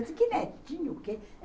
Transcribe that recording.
Eu disse, que netinho o quê?